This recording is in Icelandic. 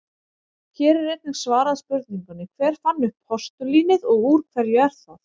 Hér er einnig svarað spurningunni: Hver fann upp postulínið og úr hverju er það?